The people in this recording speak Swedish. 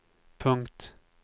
punkt